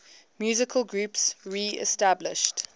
musical groups reestablished